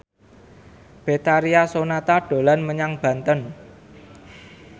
Betharia Sonata dolan menyang Banten